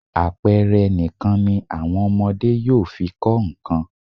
Àpẹẹre nìkan ni àwọn ọmọdé yóò fi kọ nǹkan.